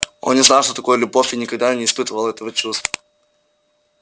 он не знал что такое любовь и никогда не испытывал этого чувства